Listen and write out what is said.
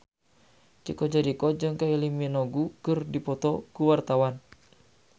Chico Jericho jeung Kylie Minogue keur dipoto ku wartawan